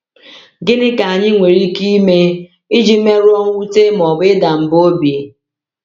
Gịnị ka anyị nwere ike ime iji merụọ mwute ma ọ bụ ịda mba obi?